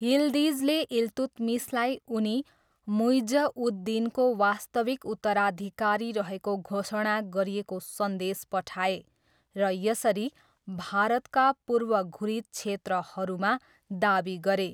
यिल्दिजले इल्तुत्मिसलाई उनी मुइज्ज उद दिनको वास्तविक उत्तराधिकारी रहेको घोषणा गरिएको सन्देश पठाए र यसरी, भारतका पूर्व घुरिद क्षेत्रहरूमा दावी गरे।